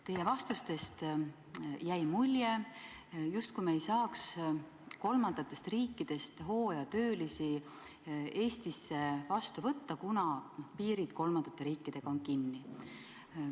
Teie vastustest jäi mulje, justkui me ei saaks kolmandatest riikidest hooajatöölisi Eestis vastu võtta, kuna piirid kolmandate riikidega on kinni.